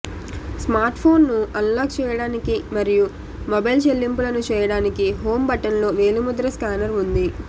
స్మార్ట్ఫోన్ను unlock చేయడానికి మరియు mobile చెల్లింపులను చేయడానికి హోమ్ బటన్లో వేలిముద్ర స్కానర్ ఉంది